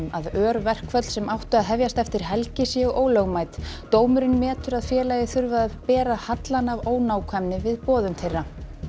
örverkföll sem áttu að hefjast eftir helgi séu ólögmæt dómurinn telur að félagið þurfi að bera hallann af ónákvæmni við boðun þeirra